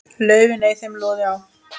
laufin ei þeim loði á.